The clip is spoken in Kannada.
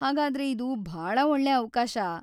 ಹಾಗಾದ್ರೆ ಇದು ಭಾಳ ಒಳ್ಳೆ ಅವ್ಕಾಶ.